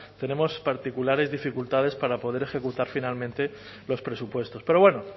tenemos particulares dificultades para poder ejecutar finalmente los presupuestos pero bueno